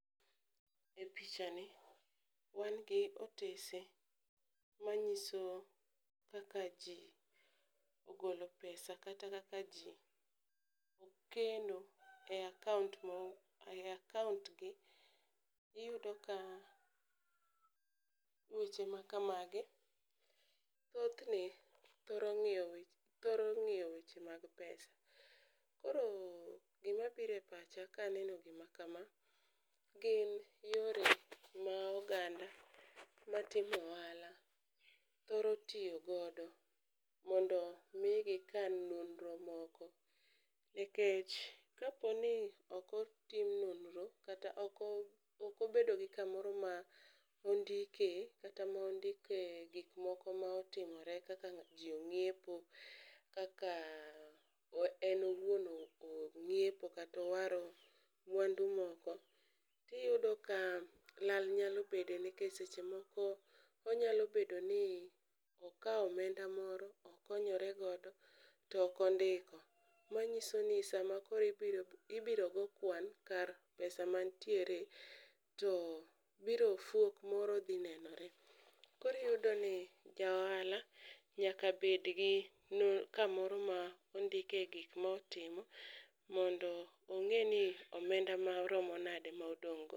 E picha ni wan gi otese ma nyiso kaka ji ogolo pesa kata kaka ji keno e akaont mo e akaont gi. Iyudo ka weche ma kamagi, thothne thoro ng'iyo gik thoro ng'iyo weche mag pesa. Koro gima bire pacha kaneno gima kama, gin yore ma oganda ma timo ohala thoro tiyo godo mondo migi kan nonro moko. Nikech kapo ni okotim nonro kata okobedo gi kamoro mondike kata mondike gik moko motimore kaka ji ong'iepo. Kaka en owuon ong'iepo kata owaro mwandu moko, tiyudo ka lal nyalo bede. Nikech seche moko onyalo bedo ni okawo omenda moro okonyore godo to okondiko. Manyiso ni sama koro ibiro go kwan kar pesa mantiere to biro fuok moro dhi nenore. Koriyudo ni ja ohala nyaka bed gi kamoro ma ondike gik motimo, mondo ong'e ni omenda ma romo nade ma odong' go.